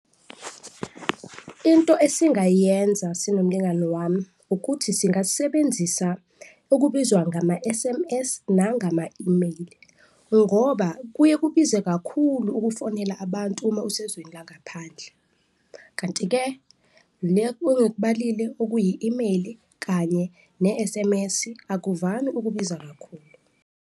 Into esingayenza sinomlingani wami ukuthi singasebenzisa okubizwa ngama-S_M_S nangama-email-i ngoba kuye kubize kakhulu ukufonela abantu uma usezwini langaphandle kanti-ke le ongikubalile okuyi-email-i kanye ne-S_M_S-i akuvami ukubiza kakhulu.